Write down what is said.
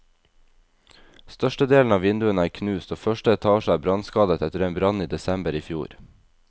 Størstedelen av vinduene er knust, og første etasje er brannskadet etter en brann i desember i fjor.